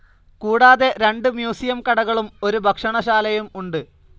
കൂടാതെ രണ്ട് മ്യൂസിയം കടകളും ഒരു ഭക്ഷണശാലയും ഉണ്ട്.